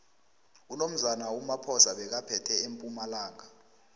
unomzane umaphosa bekaphethe empumalanga